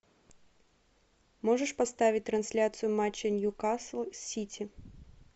можешь поставить трансляцию матча ньюкасл сити